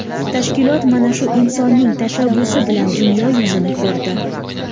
Tashkilot mana shu insonning tashabbusi bilan dunyo yuzini ko‘rdi.